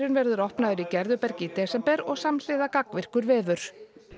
verður opnaður í Gerðubergi í desember og samhliða gagnvirkur vefur